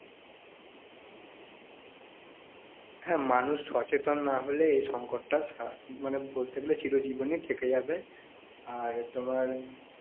হ্যাঁ মানুষ সচেতন না হলে এই সংকটটা সারা~ মানে বলতে গেলে চিরজীবনই থেকে যাবে আর তোমার